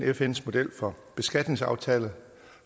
fns model for beskatningsaftaler